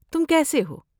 تم کیسے ہو؟